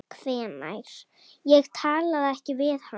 Ég talaði ekki við hana.